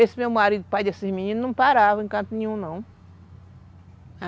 Esse meu marido, pai desses meninos, não parava em canto nenhum, não.